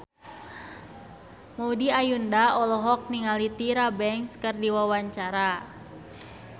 Maudy Ayunda olohok ningali Tyra Banks keur diwawancara